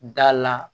Da la